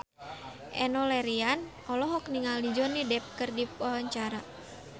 Enno Lerian olohok ningali Johnny Depp keur diwawancara